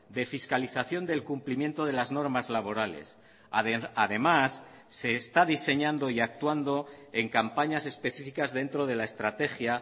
de fiscalización del cumplimiento de las normas laborales además se está diseñando y actuando en campañas específicas dentro de la estrategia